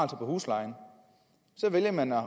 på huslejen så vælger man at